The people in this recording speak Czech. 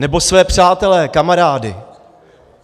Nebo své přátele, kamarády.